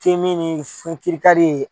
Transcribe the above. K'i min sin ka di ye